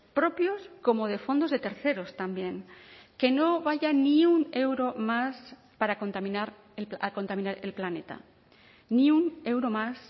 propios como de fondos de terceros también que no vaya ni un euro más para contaminar a contaminar el planeta ni un euro más